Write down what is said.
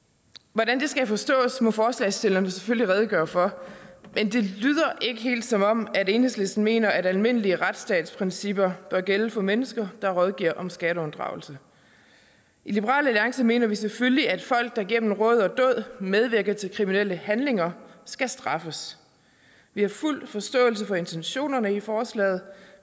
hvordan det skal forstås må forslagsstillerne selvfølgelig redegøre for men det lyder ikke helt som om enhedslisten mener at almindelige retsstatsprincipper bør gælde for mennesker der rådgiver om skatteunddragelse i liberal alliance mener vi selvfølgelig at folk der gennem råd og dåd medvirker til kriminelle handlinger skal straffes vi har fuld forståelse for intentionerne i forslaget